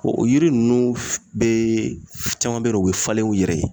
O yiri ninnu f bee f caman be ye dɛ u be falen u yɛrɛ ye